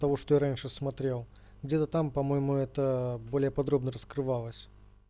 потому что раньше смотрел где-то там по-моему это более подробно раскрывалось